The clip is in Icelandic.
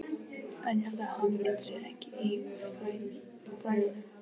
En ég held að hamingjan sé ekki í fræðunum.